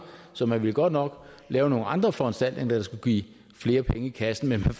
så man ville godt nok lave nogle andre foranstaltninger der skulle give flere penge i kassen men man